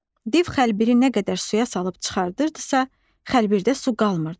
Div xəlbiri nə qədər suya salıb çıxarırdısa, xəlbirdə su qalmırdı.